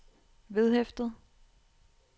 vedhæftet